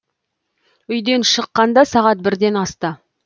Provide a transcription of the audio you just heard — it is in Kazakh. үйден шыққанда сағат бірден асты